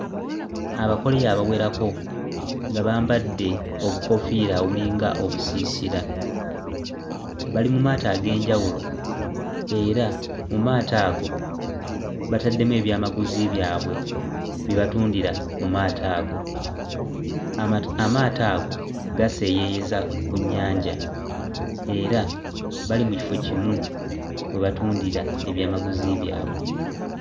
Abakoleya abawerako nga bambadde obukoofiira obulinga obusiisira bali mu maato ag'enjawulo era mu maato ago bataddemu ebyamaguzi byabwe bye batundira mu maato ago amati amaato ago gaseeyeeyeza ku nnyanja era bali mu kifo kimu we batundira ebyamaguzi byabwe.